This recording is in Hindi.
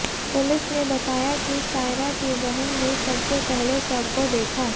पुलिस ने बताया कि सायरा की बहन ने सबसे पहले शव को देखा